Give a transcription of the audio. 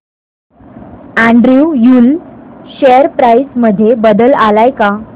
Andrew Yule share price मध्ये बदल आलाय का